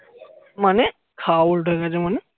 মানে খাওয়া উল্টো হয়ে গেছে মানে